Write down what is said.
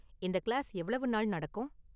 இந்த கிளாஸ் எவ்வளவு நாள் நடக்கும்?